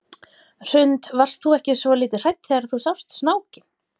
Hrund: Varstu ekki svolítið hrædd þegar þú sást snákinn?